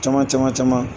Caman caman caman